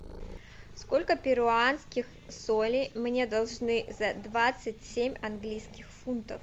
сколько перуанских солей мне должны за двадцать семь английских фунтов